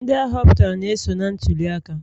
Ndị ahoputara na-eso n'ntuli aka